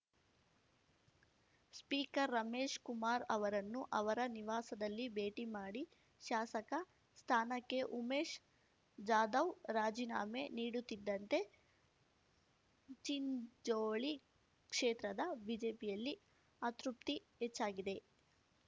speaker Ramesh Kumar ಅವರನ್ನು ಅವರ ನಿವಾಸದಲ್ಲಿ ಭೇಟಿಮಾಡಿ ಶಾಸಕ ಸ್ಥಾನಕ್ಕೆ ಉಮೇಶ್ ಜಾಧವ್ ರಾಜೀನಾಮೆ ನೀಡುತ್ತಿದ್ದಂತೆ ಚಿಂಚೋಳಿ ಕ್ಷೇತ್ರದ ಬಿಜೆಪಿಯಲ್ಲಿ ಅತೃಪ್ತಿ ಹೆಚ್ಚಾಗಿದೆ